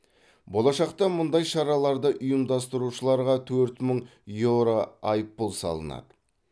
болашақта мұндай шараларды ұйымдастырушыларға төрт мың еуро айыппұл салынады